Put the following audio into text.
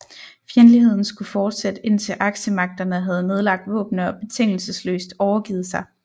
Fjendtligheden skulle fortsætte indtil aksemagterne havde nedlagt våbnene og betingelsesløst overgivet sig